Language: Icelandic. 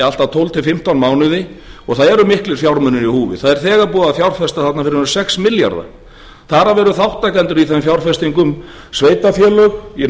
allt að tólf til fimmtán mánuði og það eru miklir fjármunir í húfi það er þegar búið að fjárfesta þarna fyrir um sex milljarða þar af eru þátttakendur í þeim fjárfestingum sveitarfélög í